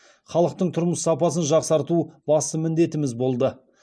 халықтың тұрмыс сапасын жақсарту басты міндетіміз болды